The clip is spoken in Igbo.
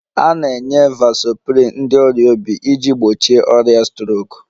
A na-enye vasoprin ndị ọrịa obi iji gbochie ọrịa strok